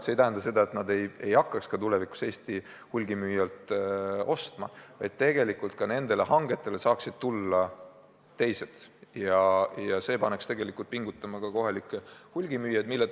See ei tähenda, et nad ei hakkaks tulevikus enam Eesti hulgimüüjatelt ostma, vaid nendele hangetele saaksid tulla ka teised ja see paneks kohalikke hulgimüüjaid pingutama.